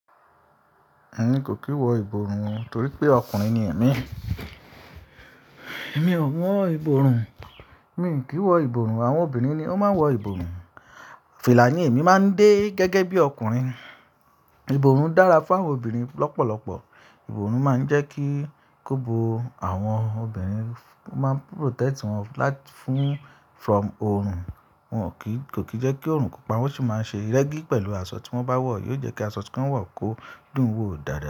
Èmi kò kí wọ ìbòrun torí pé ọkùnrin ni èmi. Èmi ò mọ ìbòrun, mi kì í wọ ìbòrun, àwọn obìnrin ni ó máa ń wọ ìbòrun. Fìlànì èmi máa ń dé gẹ́gẹ́ bí ọkùnrin. Ìbòrun dára fún àwọn obìnrin lọ́pọ̀lọpọ̀. Ìbòrun máa ń jẹ́ kí kóbo àwọn obìnrin, ó máa ń protect wọn láti-- fún from oorun. Wọn ò kí, kò kí jẹ́ kí oorun kó pa wọ́n, ó sì máa ń ṣe rẹ́gí pẹ̀lú aṣọ tí wọ́n bá wọ̀, yóò jẹ́ kí aṣọ tí wọ́n wọ̀ kó dùn ún wò dáadáa.